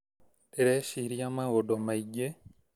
Ndĩreciria maũndũmaingĩ